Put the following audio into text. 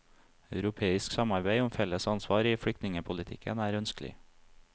Europeisk samarbeid om felles ansvar i flyktningepolitikken er ønskelig.